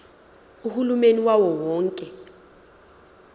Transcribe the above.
uhulumeni wawo wonke